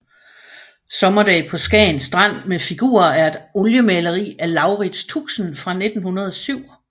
Sommerdag på Skagen Strand med figurer er et oliemaleri af Laurits Tuxen fra 1907